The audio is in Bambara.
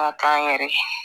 Ka k'an yɛrɛ ye